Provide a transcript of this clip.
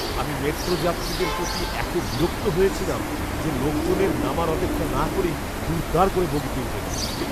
আমি মেট্রো যাত্রীদের প্রতি এতো বিরক্ত হয়েছিলাম যে, লোকজনের নামার অপেক্ষা না করেই দুড়দাড় করে বগিতে উঠে গেলো!